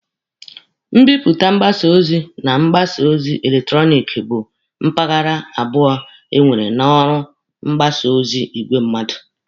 Mbipụta mgbasa ozi na mgbasa ozi eletrọnịkị bụ mpaghara abụọ e nwere na ọrụ mgbasa ozi n'igwe mmadụ.